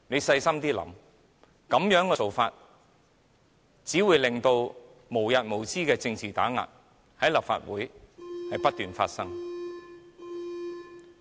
細心想想，這樣做只會導致無日無之的政治打壓，在立法會內不斷發生。